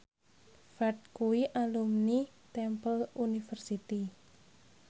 Ferdge kuwi alumni Temple University